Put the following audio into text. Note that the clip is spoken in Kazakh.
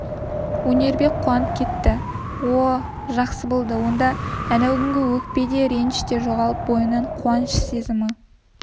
өнербек қуанып кетті о-о жақсы болды онда әнеукүнгі өкпе де өкініш те жоғалып бойын қуаныш сезімі